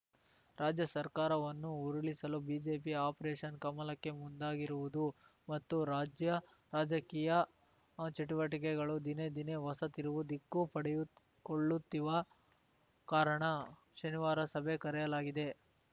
ರಾಜ್ಯ ಸರ್ಕಾರವನ್ನು ಉರುಳಿಸಲು ಬಿಜೆಪಿ ಆಪರೇಷನ್‌ ಕಮಲಕ್ಕೆ ಮುಂದಾಗಿರುವುದು ಮತ್ತು ರಾಜ್ಯ ರಾಜಕೀಯ ಚಟುವಟಿಕೆಗಳು ದಿನೇ ದಿನೇ ಹೊಸ ತಿರುವು ದಿಕ್ಕು ಪಡೆದುಕೊಳ್ಳುತ್ತಿವ ಕಾರಣ ಶನಿವಾರ ಸಭೆ ಕರೆಯಲಾಗಿದೆ